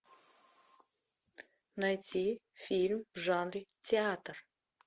найти фильм в жанре театр